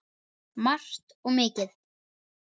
Margt og mikið.